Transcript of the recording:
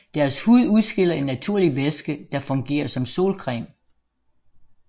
Deres hud udskiller en naturlig væske der fungerer som solcreme